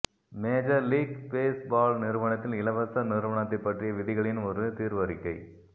major league baseball நிறுவனத்தில் இலவச நிறுவனத்தைப் பற்றிய விதிகளின் ஒரு தீர்வறிக்கை